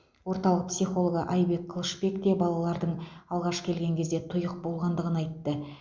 орталық психологы айбек қылышбек те балалардың алғаш келген кезде тұйық болғандығын айтты